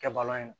Kɛ balan ye